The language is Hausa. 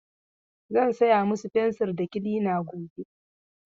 Zan saya musu fensir da kilina gobe.